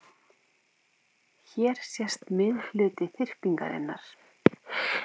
Hér sést miðhluti þyrpingarinnar.